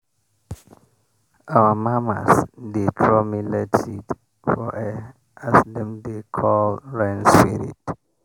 our mamas dey throw millet seed for air as dem dey call rain spirit.